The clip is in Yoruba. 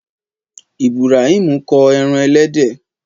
Ìbùràímù ko ẹran ẹlẹ́dẹ̀.